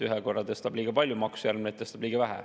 Ühe korra tõstab liiga palju makse, järgmine kord tõstab liiga vähe.